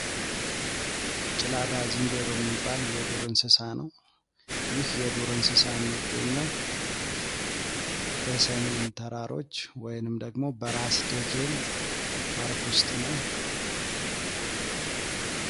ጭላዳ ዝንጀሮ የሚባል የዱር እንስሳ ነው። ይህ የዱር እንስሳ የሚገኘው በሰሜን ተራሮች ወይም ደግሞ በራስ ደጀን ፓርክ ውስጥ ነው።